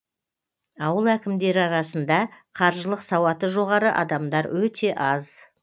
ауыл әкімдері арасында қаржылық сауаты жоғары адамар өте аз